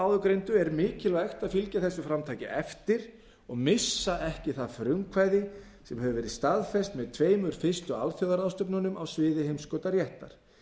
áðurgreindu er mikilvægt að fylgja þessu framtaki eftir og missa ekki það frumkvæði sem hefur verið staðfest með tveimur fyrstu alþjóðaráðstefnunum á sviði heimskautaréttar